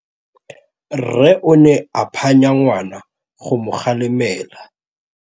Rre o ne a phanya ngwana go mo galemela.